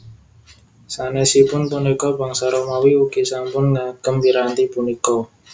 Sanèsipun punika bangsa Romawi ugi sampun ngagem piranti punika